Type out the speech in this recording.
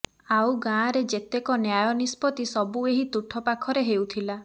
ଆଉ ଗାଁରେ ଯେତେକ ନ୍ୟାୟ ନିଷ୍ପତି ସବୁ ଏହି ତୁଠ ପାଖରେ ହେଉଥିଲା